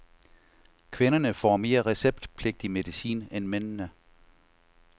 Kvinderne får mere receptpligtig medicin end mændene.